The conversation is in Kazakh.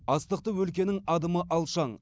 астықты өлкенің адымы алшаң